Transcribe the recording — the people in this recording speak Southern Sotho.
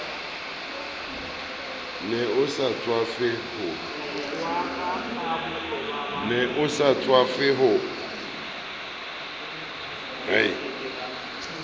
ne a sa tswafe ho